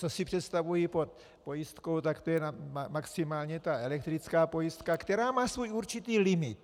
Co si představuji pod pojistkou, tak to je maximálně ta elektrická pojistka, která má svůj určitý limit.